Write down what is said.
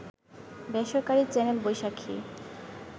বেসরকারি চ্যানেল বৈশাখী